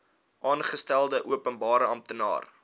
aangestelde openbare amptenaar